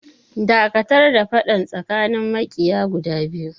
Dakatar da faɗan tsakanin maƙiya guda biyu!